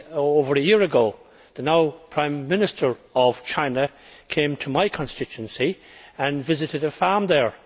Over a year ago, the now Prime Minister of China came to my constituency and visited a farm there.